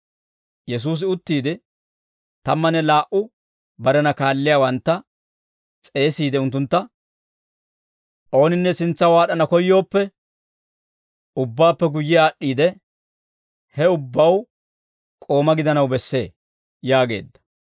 Yesuusi uttiide, tammanne laa"u barena kaalliyaawantta s'eesiide unttuntta, «Ooninne sintsaw aad'd'ana koyyooppe, ubbaappe guyye aad'd'iide, he ubbaw k'ooma gidanaw bessee» yaageedda.